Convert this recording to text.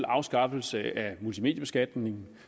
afskaffelse af multimediebeskatningen